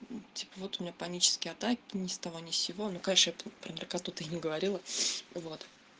типа вот у меня панические атаки ни с того ни с сего ну конечно я про наркоту не говорила вот